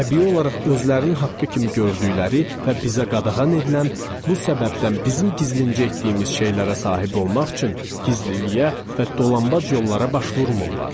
Təbii olaraq özlərin haqqı kimi gördükləri və bizə qadağan edilən bu səbəbdən bizim gizlincə etdiyimiz şeylərə sahib olmaq üçün gizliliyə və dolanbac yollara baş vurmurlar.